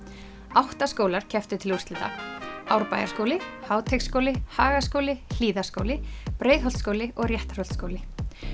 átta skólar kepptu til úrslita Árbæjarskóli Háteigsskóli Hagaskóli Hlíðaskóli Breiðholtsskóli og Réttarholtsskóli